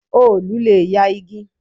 Òòlù le ya igi.